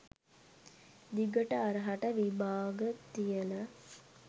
දිගට හරහට විභාග තියල